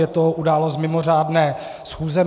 Je to událost mimořádné schůze.